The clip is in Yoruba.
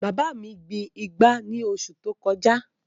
Bàbá òbí mi gbin ìgbá ní oṣù tó kọjá